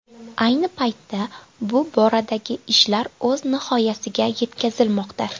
Ayni paytda bu boradagi ishlar o‘z nihoyasiga yetkazilmoqda.